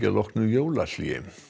að loknu jólahléi